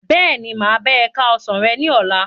Bẹ́ẹ̀ni, máa bá e ka ọsán rẹ ní ọlá.